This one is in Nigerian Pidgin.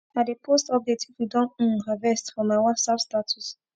i dey post update if we don um harvest for my whatsapp startuse